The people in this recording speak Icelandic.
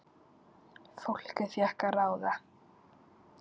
Fólkið fékk að ráða.